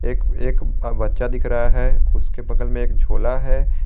एक एक बच्चा दिख रहा है उसके बगल में एक झोला है।